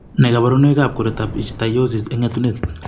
Nee kabarunoikab koroitoab Ichthyosis eng' etunet?